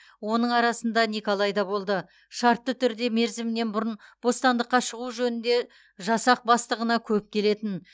оның арасында николай да болды шартты түрде мерзімінен бұрын бостандыққа шығу жөнінде жасақ бастығына көп келетін